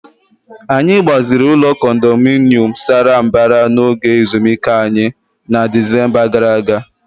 Anyị gbaziri ụlọ condominium sara mbara n'oge ezumike anyị na Disemba gara aga.